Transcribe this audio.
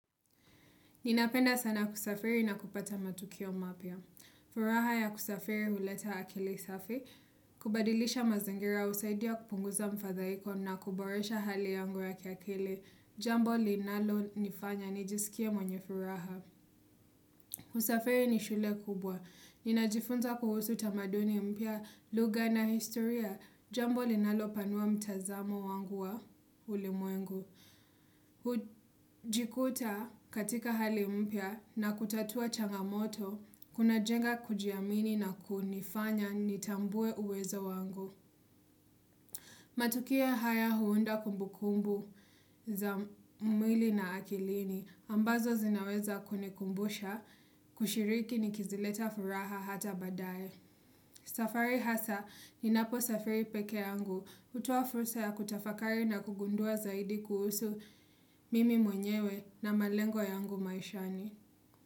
Ninapenda sana kusafiri na kupata matukio mapya. Furaha ya kusafiri huleta akili safi. Kubadilisha mazangira usaidia kupunguza mfadhaiko na kuboresha hali yangu ya ki akili. Jambo linalo nifanya nijisikia mwenye furaha. Kusafiri ni shule kubwa. Ninajifunza kuhusu tamaduni mpya, lugha na historia. Jambo linalo panua mtazamo wangu wa ulimwengu. Kujikuta katika hali mpya na kutatua changamoto, kuna jenga kujiamini na kunifanya nitambue uwezo wangu Matukia haya huunda kumbukumbu za mwili na akilini, ambazo zinaweza kune kumbusha, kushiriki ni kizileta furaha hata badae safari hasa ninapo safiri peke yangu hutoa fursa ya kutafakari na kugundua zaidi kuhusu mimi mwenyewe na malengo yangu maishani.